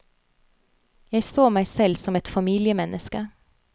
Jeg så meg selv som et familiemenneske.